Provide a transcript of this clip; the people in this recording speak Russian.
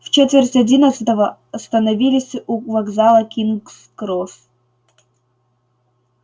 в четверть одиннадцатого остановились у вокзала кингс-кросс